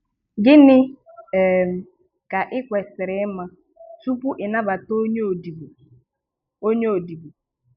Gịnị um ka ị kwesiri ima tupu ị nabata onye odibo? onye odibo?